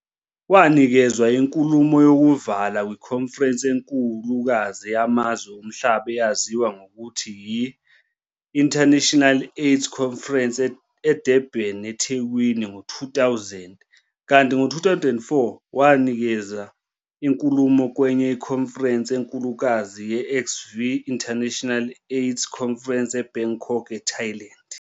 Wanikeza inkulumo youvala kwikhonferense enkulukazi yamazwe omhlaba eyaziwa ngelokuthi yi-XIII International AIDS Conference eDurban, eThekwini, ngo 2000, kanti ngo 2004, wanikeza inkulumo kwenye ikhonferense enkulukazi ye-XV International AIDS Conference eBangkok, eThailand.